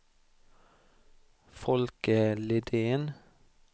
Folke Lidén